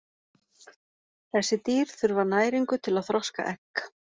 Þessi dýr þurfa næringu til að þroska egg.